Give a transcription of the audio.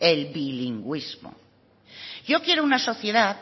el bilingüismo yo quiero una sociedad